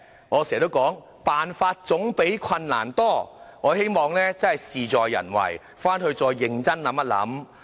我經常說辦法總比困難多，事在人為，請政府認真研究一下。